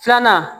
Filanan